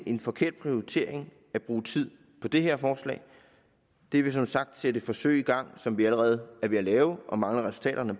en forkert prioritering at bruge tid på det her forslag det vil som sagt sætte et forsøg i gang som vi allerede er ved at lave og mangler resultaterne